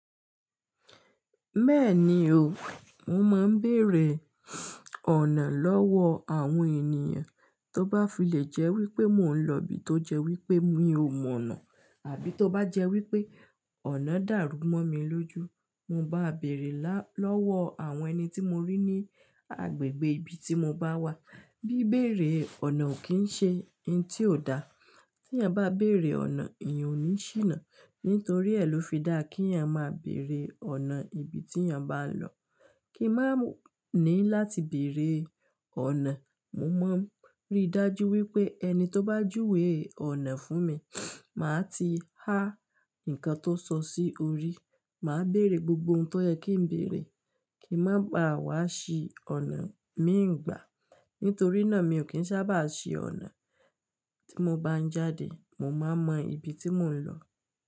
Bẹ́ẹ̀ni o, mo máa ń bèrè ọ̀nà lọ́wọ́ àwọn ènìyàn tó bá fìlé jẹ́ wípé mò ń lọ ibi tó jẹ wípé mi ò mọ̀ ọ̀nà àbí tó bá jẹ́ wípé ọ̀nà dàrú mọ́ mi lójú. Mo bá bèrè lọ́wọ́ àwọn ẹni tí mo rí ní agbègbè ibi tí mo bá wà. Bí bẹ̀rẹ̀ ọ̀nà ò kí ń ṣe ohun tí ò dá. Tí yàn bá bèrè ọ̀nà, èèyàn ò ní ṣìnà. Nítorí èló fi dá kí ènìyàn máa bèrè ọ̀nà ibi tí ènìyàn bá n lọ. Kí máa ní láti bèrè ọ̀nà, mo máa ń rí dájú wípé ẹni tó bá júwe ọ̀nà fún mi, màá ti há ǹkan tó sọ sí orí, màá bèrè gbogbo ohun tó yẹ kí ń bèrè kí má ba wá ṣí ọ̀nà mìíràn gbà. Nítorí náà mi ò kín sábà síí ọ̀nà. Tí mo bá ń jáde, mo máa mọ ibi tí mò ń lọ.